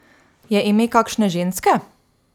Je ime kakšne ženske?